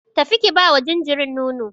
Tafi ki bawa jinjirin nono.